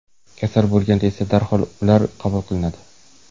Kasal bo‘lganda esa darhol ular qabul qilinadi.